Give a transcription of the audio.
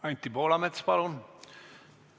Anti Poolamets, palun!